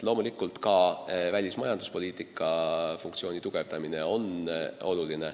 Loomulikult on tähtis ka välismajanduspoliitika tugevdamine.